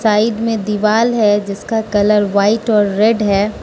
Side में दीवाल है जिसका कलर व्हाइट और रेड है।